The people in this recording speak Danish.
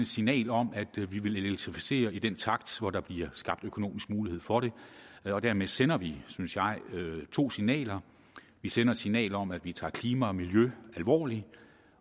signal om at vi vil elektrificere i den takt der bliver skabt økonomisk mulighed for det dermed sender vi synes jeg to signaler vi sender et signal om at vi tager klima og miljø alvorligt